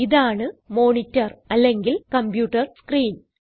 ഇതാണ് മോണിറ്റർ അല്ലെങ്കിൽ computer screen